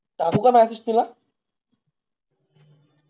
टाकू का message तिला